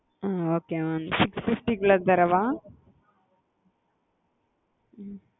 அ okay mam six fifty குள்ளது தரவா?